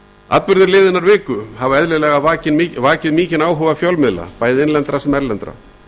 atburðir liðinnar viku hafa eðlilega vakið mikinn áhuga fjölmiðla bæði innlendra sem erlendra